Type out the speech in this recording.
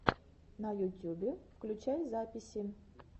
на ютюбе включай записи